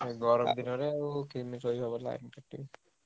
ଗରମ ଦିନରେ କେମିତି ଶୋଇହବ line କଟିଲେ।